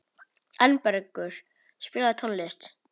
Arnbergur, spilaðu tónlist.